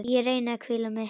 Ég reyni að hvíla mig.